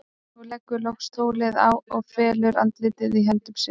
Hún leggur loks tólið á og felur andlitið í höndum sér.